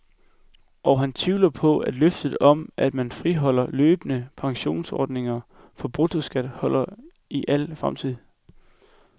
Og han tvivler på, at løftet om, at man friholder løbende pensionsordninger for bruttoskat holder i al fremtid.